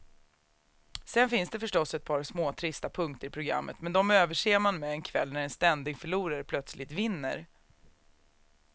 Sen finns det förstås ett par småtrista punkter i programmet, men de överser man med en kväll när en ständig förlorare plötsligt vinner.